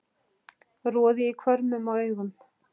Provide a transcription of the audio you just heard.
roði í hvörmum og augum